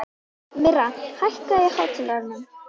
Myrra, hækkaðu í hátalaranum.